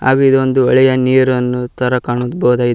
ಹಾಗೆ ಇದೊಂದು ಹೂಳೆಯ ನೀರನ್ನು ತರ ಕಾಣ ಬಹುದು.